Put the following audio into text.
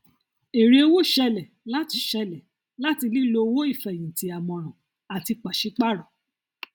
èrè owó ṣẹlẹ láti ṣẹlẹ láti lílò owó ìfẹhìntì àmọràn àti pàṣípàrọ